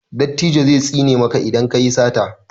dattijo zai tsine maka idan ka yi sata